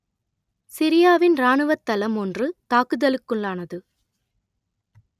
சிரியாவின் இராணுவத் தளம் ஒன்று தாக்குதலுக்குள்ளானது